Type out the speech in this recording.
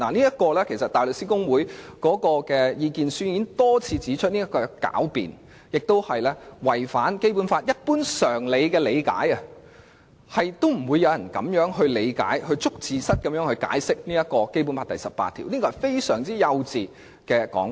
香港大律師公會的意見書已多次指出這是狡辯，有違《基本法》一般常理的理解，不會有人以這種"捉字蝨"的方式理解和解釋《基本法》第十八條，並認為這是非常幼稚的說法。